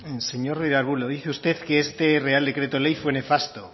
señor ruiz de arbulo lo dice usted que este real decreto ley fue nefasto